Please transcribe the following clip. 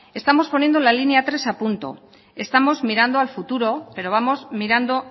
estamos poniendo la línea tres a punto estamos mirando al futuro pero vamos mirando